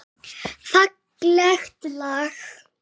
Fallegt lag.